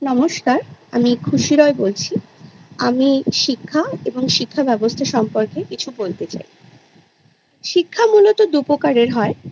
নমস্কার আমি খুশি রয় বলছি আমি শিক্ষা এবং শিক্ষা ব্যবস্থা সম্পর্কে কিছু বলতে চাই শিক্ষা মূলত দু প্রকারের হয়